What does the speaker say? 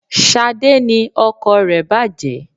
Sade ni ọkọ̀ rẹ bàjé